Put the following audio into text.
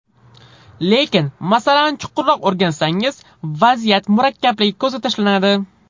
Lekin masalani chuqurroq o‘rgansangiz, vaziyat murakkabligi ko‘zga tashlanadi.